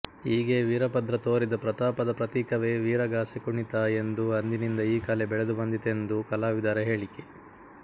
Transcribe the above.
ಹೀಗೆ ವೀರಭದ್ರ ತೋರಿದ ಪ್ರತಾಪದ ಪ್ರತೀಕವೇ ವೀರಗಾಸೆ ಕುಣಿತ ಎಂದೂ ಅಂದಿನಿಂದ ಈ ಕಲೆ ಬೆಳೆದುಬಂದಿತೆಂದೂ ಕಲಾವಿದರ ಹೇಳಿಕೆ